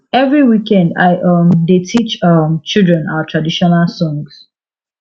every weekend i um dey teach um children our traditional songs